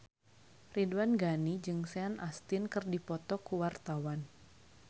Ridwan Ghani jeung Sean Astin keur dipoto ku wartawan